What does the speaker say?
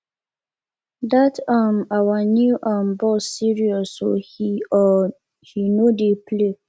dat um our new um boss serious oo he oo he no dey play